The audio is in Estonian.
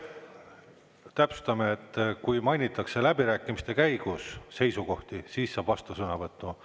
Täpsustame, et kui mainitakse läbirääkimiste käigus seisukohti, siis saab vastusõnavõtu.